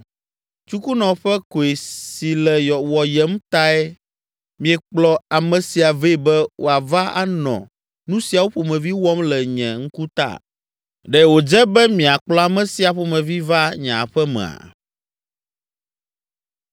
Tsukunɔ ƒe koe si le wɔyem tae miekplɔ ame sia vɛ be woava anɔ nu siawo ƒomevi wɔm le nye ŋkutaa? Ɖe wòdze be miakplɔ ame sia ƒomevi va nye aƒe mea?”